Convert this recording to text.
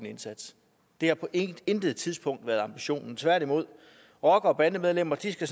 indsats det har på intet intet tidspunkt været ambitionen tværtimod rockere og bandemedlemmer skal